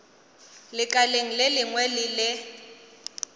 lekaleng le lengwe le le